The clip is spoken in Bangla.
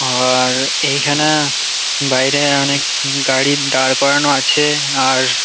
আ-আ-র এই খানা বাইরে অনেক গাড়ি দাঁড় করানো আছে আর--